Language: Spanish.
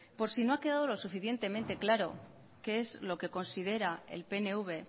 por si no ha quedado lo suficientemente claro qué es lo que considera el pnv